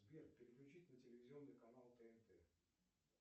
сбер переключить на телевизионный канал тнт